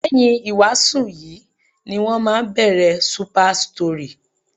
Lẹ́yìn ìwàásù yìí ní wọ́n máa bẹ̀rẹ̀ Super Story.